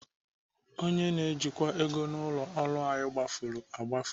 Onye na-ejikwa ego ụlọ ọrụ anyị gbafuru agbafu.